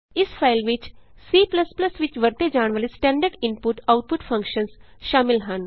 ਇਸ ਫਾਈਲ ਵਿਚ C ਵਿਚ ਵਰਤੇ ਜਾਣ ਵਾਲੇ ਸਟੈਂਡਰਡ ਇਨਪੁਟਆਉਟਪੁਟ ਫੰਕਸ਼ਨਸ ਸ਼ਾਮਲ ਹਨ